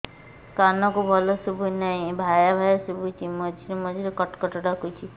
କାନକୁ ଭଲ ଶୁଭୁ ନାହିଁ ଭାଆ ଭାଆ ଶୁଭୁଚି ମଝିରେ ମଝିରେ କଟ କଟ ଡାକୁଚି